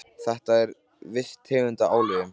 Þetta er viss tegund af álögum.